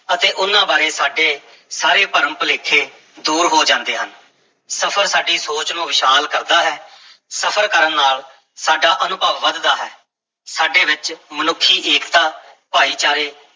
ਅਤੇ ਉਹਨਾਂ ਬਾਰੇ ਸਾਡੇ ਸਾਰੇ ਭਰਮ-ਭੁਲੇਖੇ ਦੂਰ ਹੋ ਜਾਂਦੇ ਹਨ, ਸਫ਼ਰ ਸਾਡੀ ਸੋਚ ਨੂੰ ਵਿਸ਼ਾਲ ਕਰਦਾ ਹੈ, ਸਫ਼ਰ ਕਰਨ ਨਾਲ ਸਾਡਾ ਅਨੁਭਵ ਵਧਦਾ ਹੈ, ਸਾਡੇ ਵਿੱਚ ਮਨੁੱਖੀ ਏਕਤਾ, ਭਾਈਚਾਰੇ